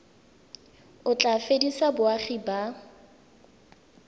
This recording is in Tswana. o tla fedisa boagi ba